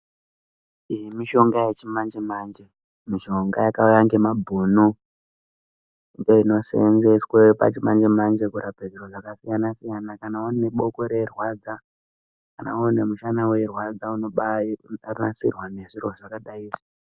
Iyi mishonga yechimanjemanje yakauya nemabhunu, ndoinoseenzeswe pachimanje-manje kurape zvakasiyana-siyana. Kana uine boko reirwadza, kana uine musana weirwadza unobatsirwa ngezviro zvakadaizvi.